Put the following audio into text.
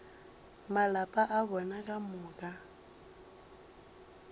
malapa a bona ka moka